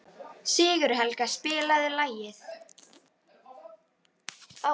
Sigurhelga, spilaðu lag.